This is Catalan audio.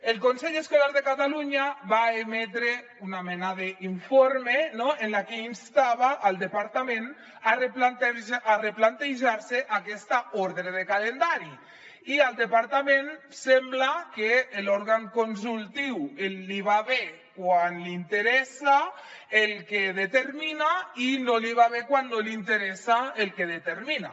el consell escolar de catalunya va emetre una mena d’informe no en el que instava el departament a replantejar se aquesta ordre de calendari i al departament sembla que l’òrgan consultiu li va bé quan li interessa el que determina i no li va bé quan no li interessa el que determina